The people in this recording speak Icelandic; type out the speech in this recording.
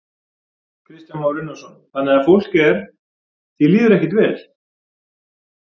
Kristján Már Unnarsson: Þannig að fólk er, því líður ekkert vel?